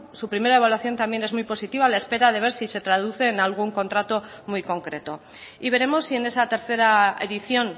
su primera evaluación también es muy positiva a la espera de ver si se traduce en algún contrato muy concreto y veremos si en esa tercera edición